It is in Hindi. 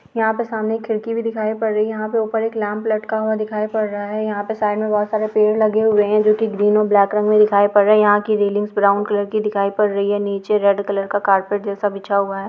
यहाँ पे सामने एक खिड़की भी दिखाई पड़ रही है यहाँ पे ऊपर एक लैंप लटका हुआ दिखाई पड़ रहा है यहाँ पे साइड में बहुत सारे पेड़ लगे हुए है जो कि ग्रीन और ब्लैक रंग में दिखाई पड़ रही है यहाँ की रेलिंग्स ब्राउन कलर की दिखाई पड़ रही है नीचे रेड कलर का कारपेट जैसा बिछा हुआ है।